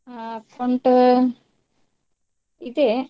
ಅಹ್ account ಇದೆ.